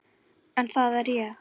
En það er ég.